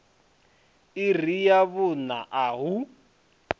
iri ya vhuṋa a hu